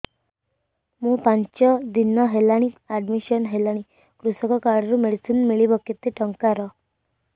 ମୁ ପାଞ୍ଚ ଦିନ ହେଲାଣି ଆଡ୍ମିଶନ ହେଲିଣି କୃଷକ କାର୍ଡ ରୁ ମେଡିସିନ ମିଳିବ କେତେ ଟଙ୍କାର